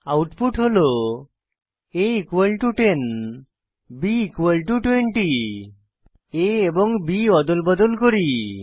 output হল a 10 b20 a এবং b অদল বদল করি